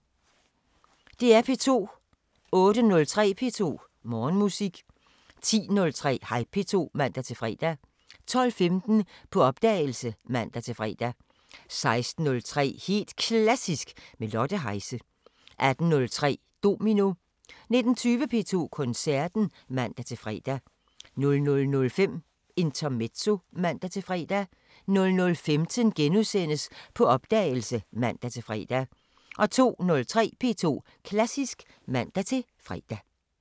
DR P2